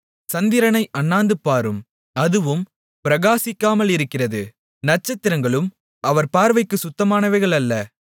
சந்திரனை அண்ணாந்துபாரும் அதுவும் பிரகாசிக்காமலிருக்கிறது நட்சத்திரங்களும் அவர் பார்வைக்குச் சுத்தமானவைகள் அல்ல